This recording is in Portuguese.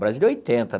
Brasília oitenta